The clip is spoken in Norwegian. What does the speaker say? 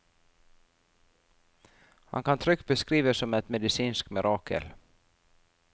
Han kan trygt beskrives som et medisinsk mirakel.